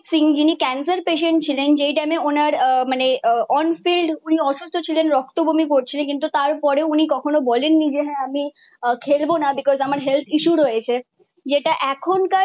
সিং যিনি cancer patient ছিলেন যেই টাইমে ওনার আহ মানে অনফিল্ড উনি অসুস্থ ছিলেন রক্ত বমি করছিলেন। কিন্তু তারপরে উনি কখনো বলেননি যে হ্যাঁ আমি খেলব না বিকশ আমার Health issue রয়েছে। যেটা এখনকার